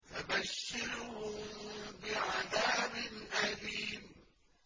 فَبَشِّرْهُم بِعَذَابٍ أَلِيمٍ